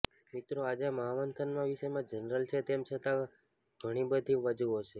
મિત્રો આજે મહામંથનમાં વિષય જનરલ છે તેમ છતા તેમા ઘણી બધી બાજુઓ છે